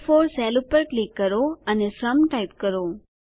એ4 cell પર click કરો અને સુમ ટાઈપ કરો